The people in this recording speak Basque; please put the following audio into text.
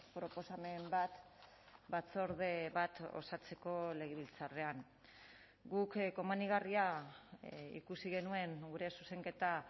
proposamen bat batzorde bat osatzeko legebiltzarrean guk komenigarria ikusi genuen gure zuzenketa